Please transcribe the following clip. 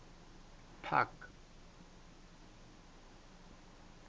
park